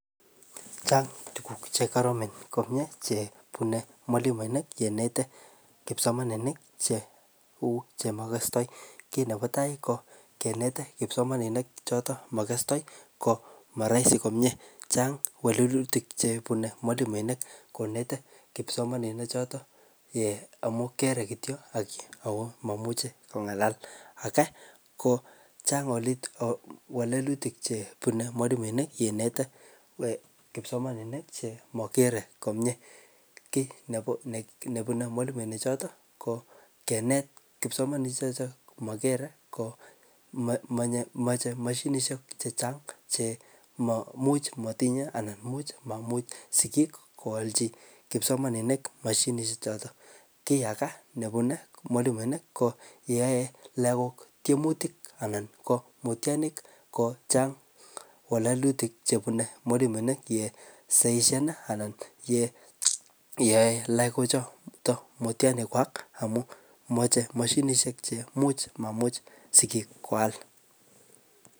chang tuguk che koromen komie chebune mwalimuinik kenete kipsomaninik chemokosto kit nepotaa kinete kipsomaninik chemokostoi kit nepo tai ko kinete kipsomaninik choto mokostoi ko moroisi komie chan kewelutik chebune mwalimuinik konete kipsomanini choto amun kere kitiok ako moimuche kong'alal ako kochang kewelutik chebune mwalimuinik yeinete kipsomaninik chemogere komie kit nebune mwalimuinik choto ko kinet kipsomanishe choto mogere komie komache mashinishek chechang che maimuch motinye anan imuch maimuch sigiik koalchi kipsomaninik mashinishe choton kii agee nebune mwalimuinik ko yeyoe lagok tiemutik anan mutianik kochang kewelutik chebune mwalimuenik yeisoisoni anan yeyoe lagochotok mutianik kwak amun moche mashinishek che imuch maimuch sigiik koal